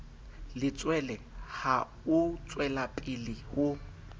letshwele ha o tswelapele ho